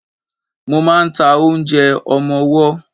Mo ma ń ta oúnjẹ ọmọwọ́.